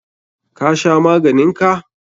Ka sha maganin ka?